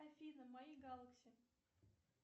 афина мои галакси